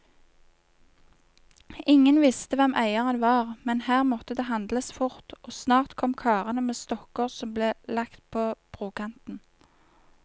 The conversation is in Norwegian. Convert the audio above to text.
Ingen visste hvem eieren var, men her måtte det handles fort, og snart kom karene med stokker som ble lagt på brokanten.